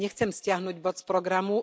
Ja nechcem stiahnuť bod z programu.